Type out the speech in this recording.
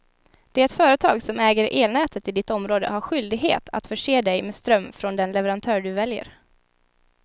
Det företag som äger elnätet i ditt område har skyldighet att förse dig med ström från den leverantör du väljer.